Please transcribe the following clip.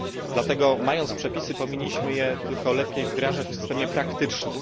Dlatego mając przepisy powinniśmy je tylko lepiej wdrażać w systemie praktycznym.